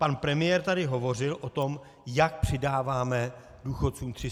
Pan premiér tady hovořil o tom, jak přidáváme důchodcům 308 korun.